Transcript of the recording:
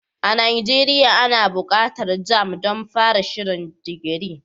A Nigeria ana buƙatar jamb don fara shirin digiri.